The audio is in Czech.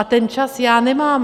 A ten čas já nemám.